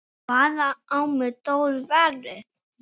Hvaðan á mig stóð veðrið.